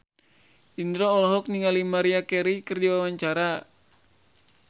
Indro olohok ningali Maria Carey keur diwawancara